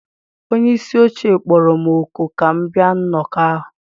Onye isi oche kpọrọ m òkù ka m bịa nnọkọ ahụ